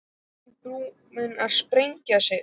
Er hún búin að sprengja sig?